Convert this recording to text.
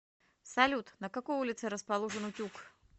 салют на какой улице расположен утюг